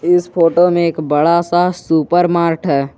इस फोटो में एक बड़ा सा सुपरमार्ट है।